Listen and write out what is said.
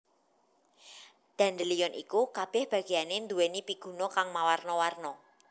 Dandelion iku kabèh bagéyané nduwèni piguna kang mawarna warna